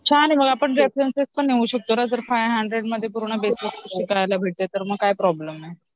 छान आहे मग आपण रेफरन्स पण देऊ शकतो ग जर आपल्याला फाइव हंड्रेड मध्ये पूर्ण बेसिक शिकायला भेटताय तर मग काय प्रॉब्लेम आहे